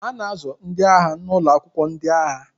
A na-azụ ndị agha n'ụlọ akwụkwọ ndị agha